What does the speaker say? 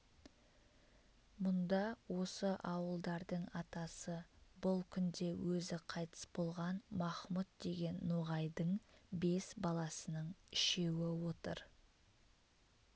мұнда осы ауылдардың атасы бұл күнде өзі қайтыс болған махмұт деген ноғайдың бес баласының үшеуі отыр